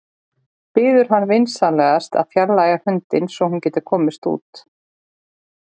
Biður hann vinsamlegast að fjarlægja hundinn svo að hún geti komist út.